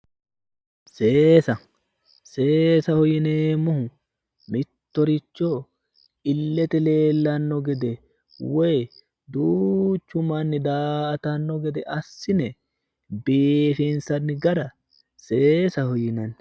Seesa seesaho yineemmohu mittoricho illete leellanno gede woyi duuchu manni daa"atanno gede assine biifinsanni gara seesaho yinanni